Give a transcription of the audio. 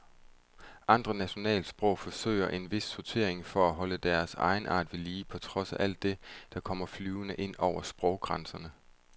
Andre nationalsprog forsøger en vis sortering for at holde deres egenart ved lige på trods af alt det, der kommer flyvende ind over sproggrænserne.